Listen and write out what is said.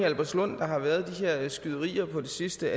albertslund der har været de her skyderier på det sidste